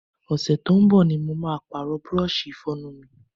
Ọ̀sẹ̀ tó ń bọ̀ ni màá Pààrọ̀ búrọ́ọ̀ṣì Ìfọ̀yín mi